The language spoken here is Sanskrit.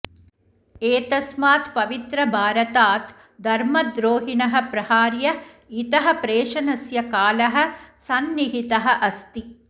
एतस्मात् पवित्रभारतात् धर्मद्रोहिणः प्रहार्य इतः प्रेषणस्य कालः सन्निहितः अस्ति